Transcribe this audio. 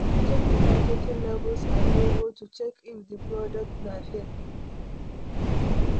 Check di packaging, labels and logo to check if di product na fake